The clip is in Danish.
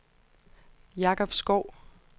Jakob Schou